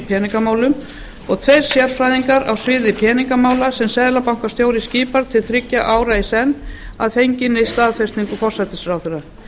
peningamálum og tveir sérfræðingar á sviði peningamála sem seðlabankastjóri skipar til þriggja ára í senn að fenginni staðfestingu forsætisráðherra